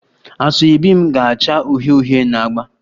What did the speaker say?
Asoebi m ga-acha uhie uhie na agba